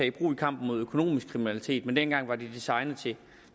i brug i kampen mod økonomisk kriminalitet men dengang var de designet til